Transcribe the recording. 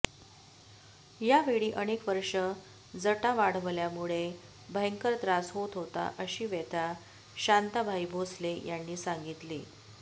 यावेळी अनेक वर्षे जटा वाढवल्यामुळे भयंकर त्रास होत होता अशी व्यथा शांताबाई भोसले यांनी सांगितली